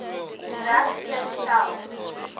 reg te stel